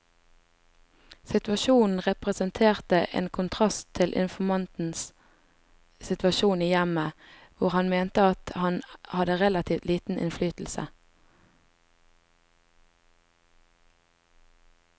Situasjonen representerte en kontrast til informantens situasjon i hjemmet, hvor han mente at han hadde relativt liten innflytelse.